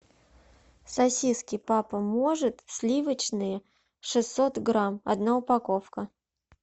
сосиски папа может сливочные шестьсот грамм одна упаковка